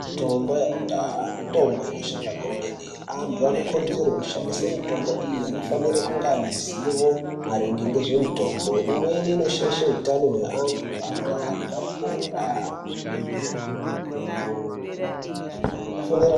Mitombo yakudhaya mitombo inoshanda kwemene. Antu anokurudzirwa kushandise mitombo iyi anofanire kunge ane zivo maringe ngezvemutombo. Imweni inoshaishe utano hweantu antu akarega kupora.